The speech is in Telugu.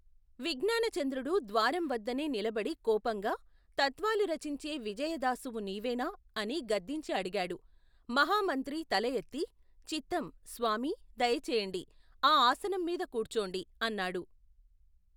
విజ్ఞానచంద్రుడు ద్వారంవద్దనే నిలబడి కోపంగా, తత్వాలు రచించే విజయదాసువు నీవేనా? అని గద్దించి అడిగాడు. మహమంత్రి తల ఎత్తి, చిత్తం, స్వామీ! దయ చేయండి ! ఆ ఆసనం మీద కూర్చోండి ! అన్నాడు.